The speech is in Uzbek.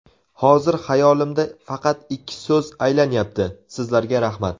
Hozir xayolimda faqat ikki so‘z aylanyapti: sizlarga rahmat.